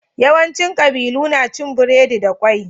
Yawanci ƙabilu na cin biredi da ƙwai.